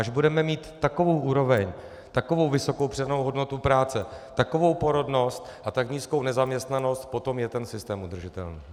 Až budeme mít takovou úroveň, takovou vysokou přidanou hodnotu práce, takovou porodnost a tak nízkou nezaměstnanost, potom je ten systém udržitelný.